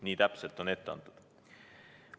Nii täpselt on ette antud.